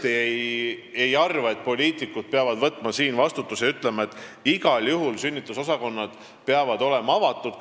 Mina tõesti ei arva, et poliitikud peavad võtma siin vastutuse ja ütlema, et igal juhul peavad sünnitusosakonnad olema seal avatud.